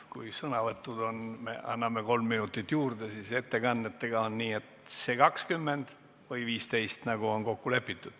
Kui sõnavõttude puhul anname kolm minutit juurde, siis ettekannetega on nii, et jääb see 20 või 15 minutit, nagu on kokku lepitud.